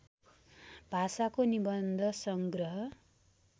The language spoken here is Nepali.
भाषाको निबन्ध सङ्ग्रह